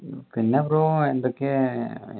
പിന്നെ ബ്രോ എന്തൊക്കെ ഏർ